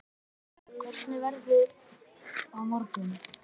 Tarfur, hvernig er veðrið á morgun?